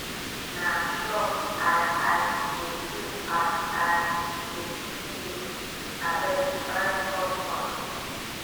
na shock i i dey do as i dey see you abeg try chop something